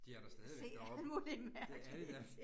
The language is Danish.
De er da stadigvæk deroppe. Det er de da